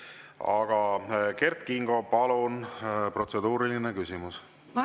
Aga Kert Kingo, palun, protseduuriline küsimus!